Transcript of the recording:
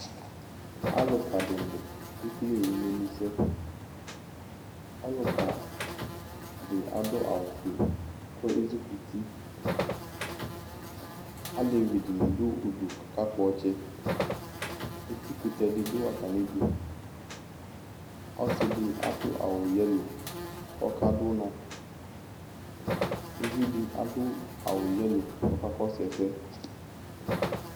Alʋka di ni kekele imɛnusɛ Ɔlʋka di adʋ awʋ fue kʋ ezʋkʋti Alɛvi di du udu kakakpɔ ɔtsɛ Eti kʋtɛ di dʋ atami idu Ɔsi di adʋ awʋ yɛlo kʋ ɔkadʋ ʋnɔUvi di adʋ awʋ yɛlo kʋ ɔkakɔsʋ ɛsɛ